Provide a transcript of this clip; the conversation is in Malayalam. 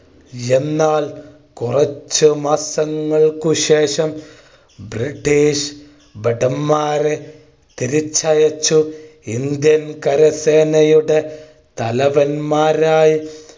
എന്നാൽ കുറച്ചു മാസങ്ങൾക്കു ശേഷം british ഭടന്മാരെ തിരിച്ചയച്ചു. Indian കരസേനയുടെ തലവന്മാരായി